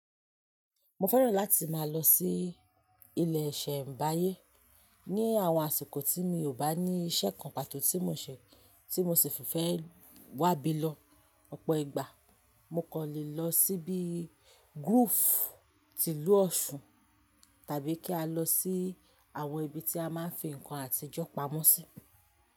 Mo fẹ́ràn láti máa lọ sí ilẹ̀ Ṣẹ̀mbáyé ní àwọn àsìkò tí mi ò bá ní iṣẹ́ kan pàtó tí mo ṣè ti mo sì fífẹ́ wá bí lọ. Ọ̀pọ̀ ìgbà mo kọ́ lè lọ sí bí gúùfù, tìlú ọ̀ṣun tàbí kí a lọ sí àwọn ibi tí a máa ń fi nǹkan àtijọ́ pamọ́ sí.